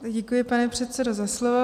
Děkuji, pane předsedo, za slovo.